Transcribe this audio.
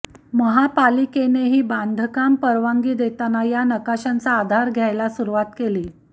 महापालिकेनेही बांधकाम परवानगी देताना या नकाशांचा आधार घ्यायला सुरूवात केली